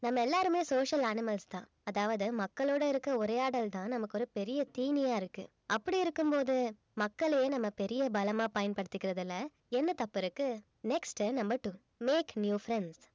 நம்ம எல்லாருமே social animals தான் அதாவது மக்களோட இருக்க உரையாடல்தான் நமக்கு ஒரு பெரிய தீனியா இருக்கு அப்படி இருக்கும்போது மக்களே நம்ம பெரிய பலமா பயன்படுத்திக்கறதுல என்ன தப்பு இருக்கு next உ number two make new friends